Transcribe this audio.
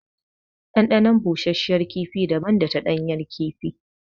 Ɗanɗanon bushashiyar kifi daban da ta ɗanyar kifi.